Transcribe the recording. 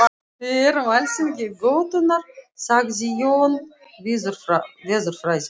Við erum alþingi götunnar sagði Jón veðurfræðingur.